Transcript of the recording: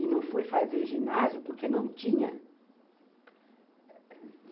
E não fui fazer ginásio porque não tinha.